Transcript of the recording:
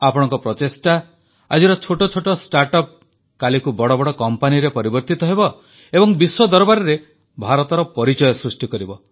ଆପଣଙ୍କ ପ୍ରଚେଷ୍ଟାରେ ଆଜିର ଛୋଟ ଛୋଟ ଷ୍ଟାର୍ଟ ଅପ୍ କାଲିକୁ ବଡ଼ ବଡ଼ କମ୍ପାନୀରେ ପରିବର୍ତ୍ତିତ ହେବ ଏବଂ ବିଶ୍ୱ ଦରବାରରେ ଭାରତର ପରିଚୟ ସୃଷ୍ଟି କରିବ